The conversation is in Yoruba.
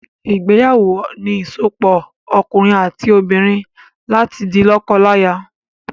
Ìgbéyàwó ni ìsopọ̀ òkunrin àti obìnrin láti di lọ́kọlaya